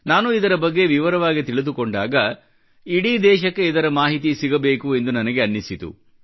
ನಾನು ಇದರ ಬಗ್ಗೆ ವಿವರವಾಗಿ ತಿಳಿದುಕೊಂಡಾಗ ಇಡೀ ದೇಶಕ್ಕೆ ಇದರ ಮಾಹಿತಿ ಸಿಗಬೇಕು ಎಂದು ನನಗೆ ಅನ್ನಿಸಿತು